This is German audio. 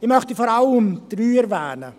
Ich möchte vor allem drei erwähnen: